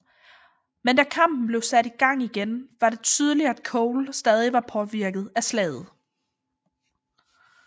Men da kampen blev sat i gang igen var det tydeligt at Cole stadig var påvirket af slaget